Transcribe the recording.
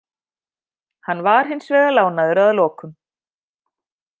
Hann var hins vegar lánaður að lokum.